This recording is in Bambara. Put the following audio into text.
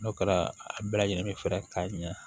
N'o kɛra a bɛɛ lajɛlen be fɛrɛ k'a ɲɛ